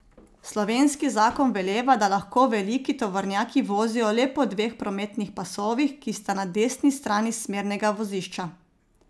Slovenski zakon veleva, da lahko veliki tovornjaki vozijo le po dveh prometnih pasovih, ki sta na desni strani smernega vozišča.